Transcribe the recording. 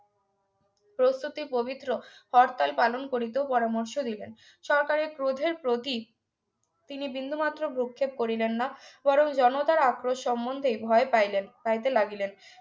প্রস্তুতি পবিত্র হরতাল পালন করিতেও পরামর্শ দিলেন সরকারের ক্রোধের প্রতীক তিনি বিন্দুমাত্র ভ্রুক্ষেপ করিলেন না বরং জনতার আক্রোশ সম্বন্ধে ভয় পাইলেন পাইতে লাগিলেন